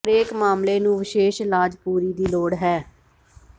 ਹਰੇਕ ਮਾਮਲੇ ਨੂੰ ਵਿਸ਼ੇਸ਼ ਇਲਾਜ ਪੂਰੀ ਦੀ ਲੋੜ ਹੈ